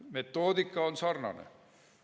Metoodika on sarnane.